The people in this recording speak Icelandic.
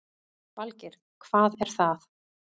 Valgeir: Hvað er það?